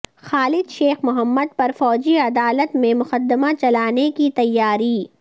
خالد شیخ محمد پر فوجی عدالت میں مقدمہ چلانے کی تیاری